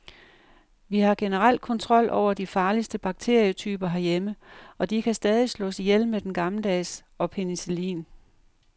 Vi har generelt kontrol over de farligste bakterietyper herhjemme, og de kan stadig slås ihjel med den gammeldags og penicillin.